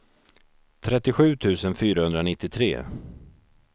trettiosju tusen fyrahundranittiotre